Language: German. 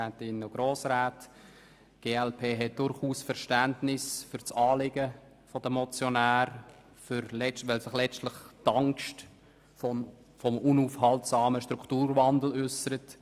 Die glp hat durchaus Verständnis für das Anliegen der Motionäre, in welchem sich letztlich die Angst vor dem unaufhaltbaren Strukturwandel äussert.